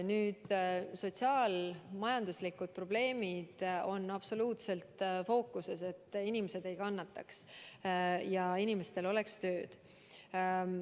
Sotsiaal-majanduslikud probleemid on absoluutselt fookuses, et inimesed ei kannataks ja inimestel oleks tööd.